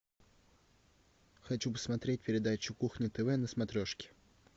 хочу посмотреть передачу кухня тв на смотрешке